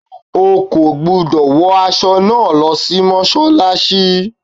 O kò gbúdọ̀ wọ aṣọ náà lọ sí Mọ́ṣálásí.